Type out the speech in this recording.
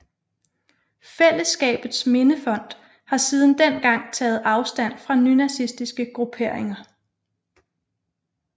Fællesskabets Mindefond har siden dengang taget afstand fra nynazistiske grupperinger